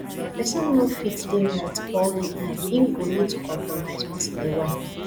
person no fit dey right all di time im go need to compromise once in a while